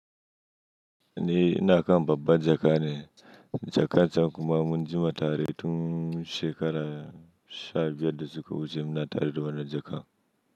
Ni naka babban jaka ne. Jakan can kuma mun jima tare tun shekara sha biyar da suka wuce muna tare da wannan jaka.